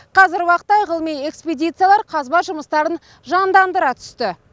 қазіргі уақытта ғылыми экспедициялар қазба жұмыстарын жандандыра түсті